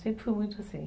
Sempre foi muito assim.